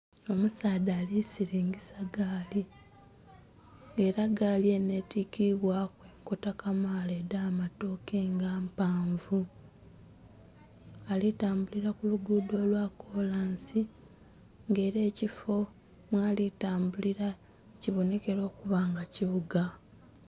Omusaadha alisiringisa gaali nga era gaali enho etikibwaku enkota kamala edhamatoke nga mpanvu ali tambulira kulugudo lwakolansi nga era ekifo mwalitambulira kibonekera okuba nga kibuga